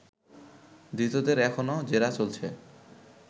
ধৃতদের এখনও জেরা চলছে